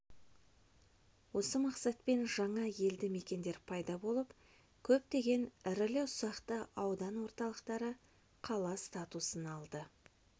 осы мақсатпен жаңа елді-мекендер пайда болып көптеген ірілі-ұсақты аудан орталықтары қала статусын алды